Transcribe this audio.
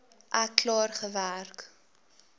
ek klaar gewerk